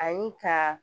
Ani ka